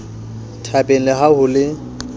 thabeng le ha ho le